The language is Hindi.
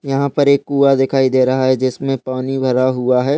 यहाँ पर एक कुआँ दिखाई दे रहा है जिसमे पानी भरा हुआ है।